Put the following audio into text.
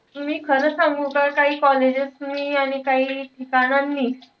मी खरं सांगू का? काही colleges नि आणि काई ठिकाणांनी,